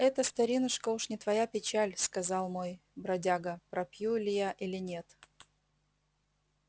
это старинушка уж не твоя печаль сказал мой бродяга пропью ли я или нет